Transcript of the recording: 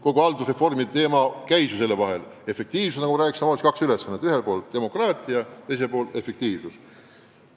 Kogu haldusreformi teema keerles ju selle ümber: ühel pool demokraatia, teisel pool efektiivsus.